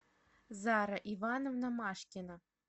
зара ивановна машкина